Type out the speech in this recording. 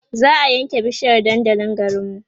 za'a ƴan ke bishiyar dandalin garinmu